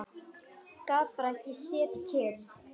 Gat bara ekki setið kyrr.